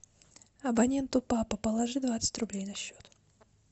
абоненту папа положи двадцать рублей на счет